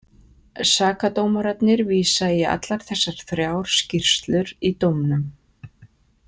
Sakadómararnir vísa í allar þessar þrjár skýrslur í dómnum.